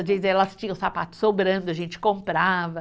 Às vezes, elas tinham sapato sobrando, a gente comprava.